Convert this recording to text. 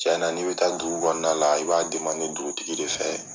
Tɲɛ na n'i bɛ taa dugu kɔnɔna na i b'a dugutigi de fɛ